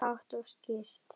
Hátt og skýrt.